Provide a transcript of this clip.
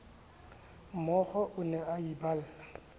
mookgo o ne a iballa